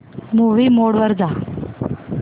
movie mode वर जा